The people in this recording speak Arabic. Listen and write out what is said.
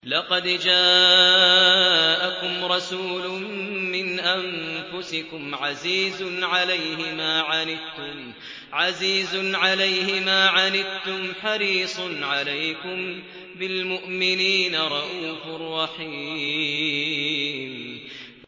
لَقَدْ جَاءَكُمْ رَسُولٌ مِّنْ أَنفُسِكُمْ عَزِيزٌ عَلَيْهِ مَا عَنِتُّمْ حَرِيصٌ عَلَيْكُم بِالْمُؤْمِنِينَ رَءُوفٌ رَّحِيمٌ